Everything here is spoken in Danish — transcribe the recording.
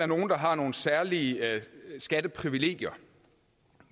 nogle der har nogle særlige skatteprivilegier